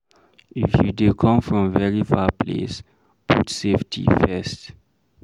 If you dey come from very far place, put safety first